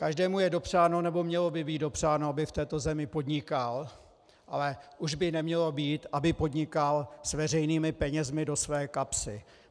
Každému je dopřáno, nebo mělo by být dopřáno, aby v této zemi podnikal, ale už by nemělo být, aby podnikal s veřejnými penězi do své kapsy.